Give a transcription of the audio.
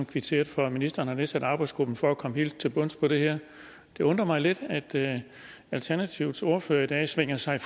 kvitteret for at ministeren har nedsat arbejdsgruppen for at komme helt til bunds i det her det undrer mig lidt at alternativets ordfører i dag svinger sig